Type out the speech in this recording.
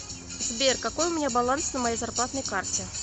сбер какой у меня баланс на моей зарплатной карте